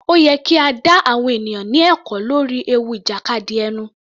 Ó yẹ kí a dá àwọn ènìyàn ní ẹ̀kọ́ lórí ewu ìjàkadì ẹnu.